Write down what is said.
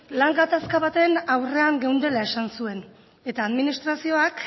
lan gatazka baten aurrean geundela esan zuen eta administrazioak